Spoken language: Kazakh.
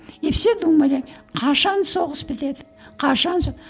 и все думали қашан соғыс бітеді қашан